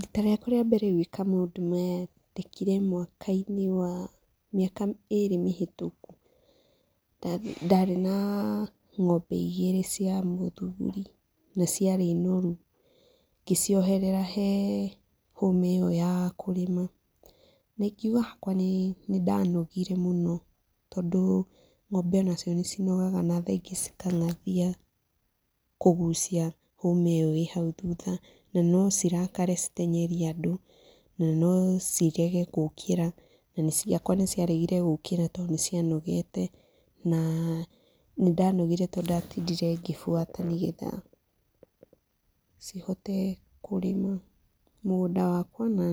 Riita rĩakwa rĩa mbere gwĩka maũndũ maya ndekire mwakainĩ wa..mĩaka ĩĩrĩ mĩhĩtũku. Ndarĩ na ng'ombe igĩrĩ cia mũthuri na ciarĩ noru, ngĩcioherera he hũũma ĩyo ya kũrĩma na ingiuga hakwa nĩndanogire mũno tondũ ng'ombe o nacio nĩinogaga na thaa ingĩ cikang'athia kũgucia hũũma ĩyo ĩ hau thutha na no cirakare citeng'erie andũ na no cirege gũũkĩra na ciakwa nĩ ciaregire gũũkĩra tondũ nĩ cĩanogete na nĩndanogire tondũ ndatindire ngĩbuata nĩ getha cihote kurĩma mũgũnda wakwa na